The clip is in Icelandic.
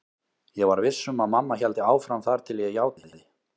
Ég var viss um að mamma héldi áfram þar til ég játaði.